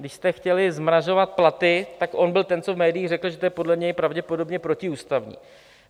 Když jste chtěli zmrazovat platy, tak on byl ten, co v médiích řekl, že to je podle něj pravděpodobně protiústavní.